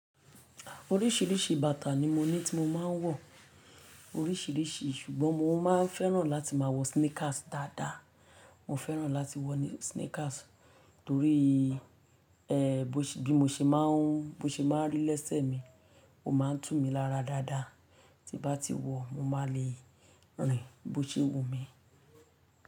Oríṣìíríṣìí bàtà ni mo ní tí mo máa ń wọ̀ oríṣìíríṣìí ṣùgbọ́n mo máa ń fẹ́ràn láti máa wọ sneakers dáadáa. Mo fẹ́ràn láti wọ sneakers torí ẹh bí mo ṣe máa ń bí o ṣe máa rí lésẹ̀ mi, ó máa ń tù mí lára dáadáa. Tí n bá ti wọ̀ mo máa le rìn bó ṣe wù mí.